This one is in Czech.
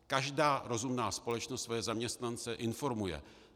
Každá rozumná společnost svoje zaměstnance informuje.